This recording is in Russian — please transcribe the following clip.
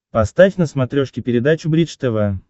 поставь на смотрешке передачу бридж тв